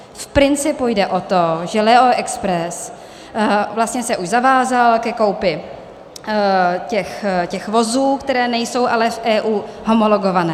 Z principu jde o to, že Leo Express vlastně se už zavázal ke koupi těch vozů, které nejsou ale v EU homologované.